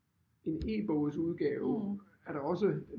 En e-bogsudgave er der også